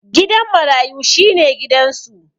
Gidan marayu shi ne gidansu.